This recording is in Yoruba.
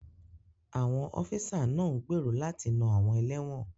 Àwọn ọ́físà náà ń gbèrò láti na àwọn ẹlẹ́wọ̀n